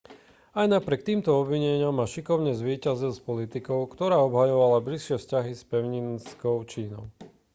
aj napriek týmto obvineniam ma šikovne zvíťazil s politikou ktorá obhajovala bližšie vzťahy s pevninskou čínou